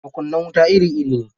Makunnan wuta iri-iri ne.